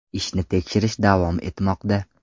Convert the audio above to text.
Ishni tekshirish davom etmoqda.